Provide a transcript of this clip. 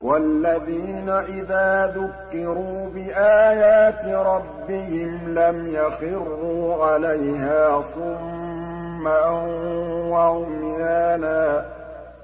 وَالَّذِينَ إِذَا ذُكِّرُوا بِآيَاتِ رَبِّهِمْ لَمْ يَخِرُّوا عَلَيْهَا صُمًّا وَعُمْيَانًا